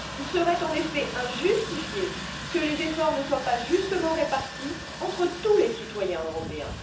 Il serait en effet injustifié que les efforts ne soient pas équitablement répartis entre tous les citoyens européens.